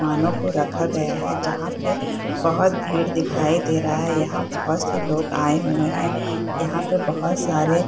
वाहनो को रखा गया है जहाँ पे बहुत भीड़ दिखाई दे रहा है | यहाँ बहुत से लोग आये हुए हैं यहाँ पे बहुत सारे --